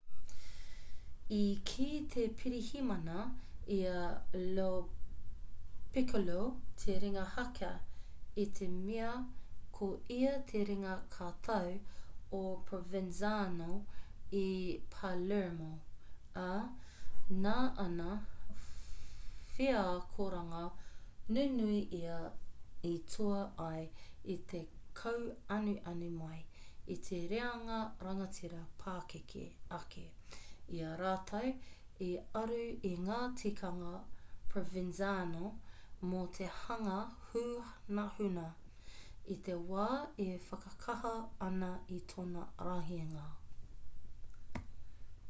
i kī te pirihimana i a lo piccolo te ringa haka i te mea ko ia te ringa katau o provenzano i palermo ā nā ana wheakoranga nunui ia i toa ai i te kauanuanu mai i te reanga rangatira pakeke ake i a rātou i aru i ngā tikanga provenzano mō te hanga hunahuna i te wā e whakakaha ana i tōna rahinga